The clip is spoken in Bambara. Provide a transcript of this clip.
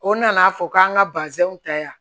O nana fɔ k'an ka bazɛnw ta yan